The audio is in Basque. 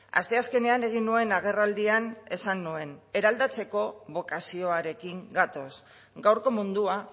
asteazkenean egin nuen agerraldian esan nuen eraldatzeko bokazioarekin gatoz gaurko mundua